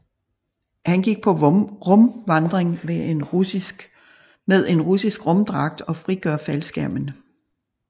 Hun går på rumvandring med en russisk rumdragt og frigør faldskærmen